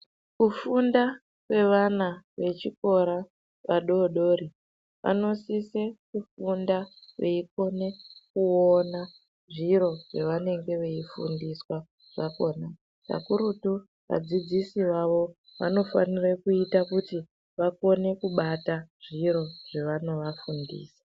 Kufunda kwevana vechikora vadodori, vanosise kufunda veikone kuona zviro zvavanenge veifundiswa zvakhona, kakurutu vadzidzisi vavo vanofanire kuite kuti vakone kubata zviro zvevanovafundisa.